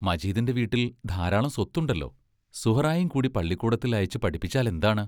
മജീദിന്റെ വീട്ടിൽ ധാരാളം സ്വത്തുണ്ടല്ലോ സുഹ്റായേയും കൂടി പള്ളിക്കൂടത്തിൽ അയച്ച് പഠിപ്പിച്ചാലെന്താണ്?